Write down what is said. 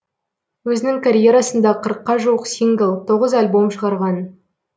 өзінің карьерасында қырыққа жуық сингл тоғыз альбом шығарған